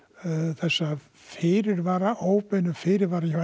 þessa fyrirvara óbeinu fyrirvara hjá